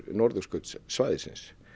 norðurskautssvæðisins